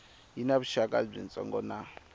yi na vuxaka byitsongo na